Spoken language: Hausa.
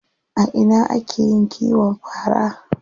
A ina ake yin kiwon fara?